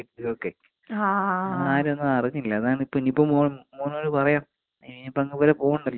നമ്മളാരും ഒന്നും അറിഞ്ഞില്ല. അതാണിപ്പൊ ഇനിയിപ്പൊ മോൻ മോനോട് പറയാം. ഇനിയിപ്പോ അങ്ങുവരെ പോണ്ടല്ലോ അക്ഷയ തൊട്ടടുത്ത് ഉണ്ടേയ്.